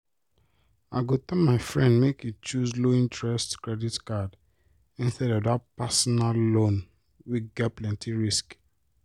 i go tell my friend make e choose low-interest credit card instead of that personal loan wey get plenty risk